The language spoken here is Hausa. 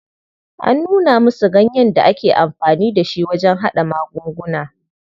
An nuna musu ganyen da ake amfani da shi wajen haɗa magunguna.